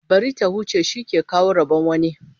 Bari ta huce, shi ke kawo rabon wani.